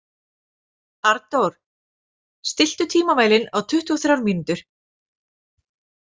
Arndór, stilltu tímamælinn á tuttugu og þrjár mínútur.